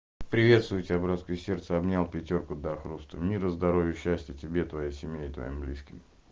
приветствую тебя братское сердце обнял пятёрку до хруста мира здоровья счастья тебе твоей семье и твоим близким